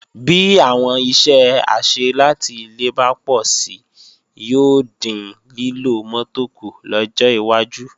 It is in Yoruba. Bí àwọn iṣẹ́ àṣẹ láti ilé bá pọ̀si yóò dín lílo mọ́tò kù lọ́jọ́ iwájú